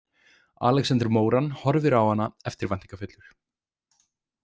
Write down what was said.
Alexander Moran horfir á hana eftirvæntingarfullur.